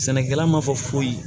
Sɛnɛkɛla ma fɔ foyi ye